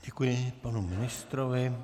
Děkuji panu ministrovi.